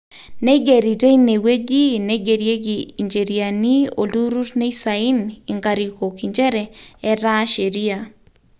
neigerri teine wueji neigerieki incheriani olturrrur neisain inkarikok inchere etaa sheria